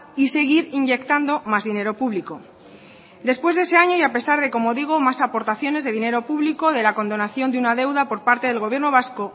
y seguir inyectando más dinero público después de ese año y a pesar de como digo más aportaciones de dinero público de la condonación de una deuda por parte del gobierno vasco